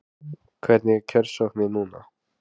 Hvernig er kjörsóknin núna?